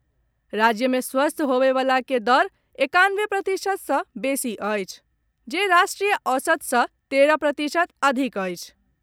राज्य मे स्वस्थ होबयवला के दर एकानवे प्रतिशत सॅ बेसी अछि, जे राष्ट्रीय औसत सॅ तेरह प्रतिशत अधिक अछि।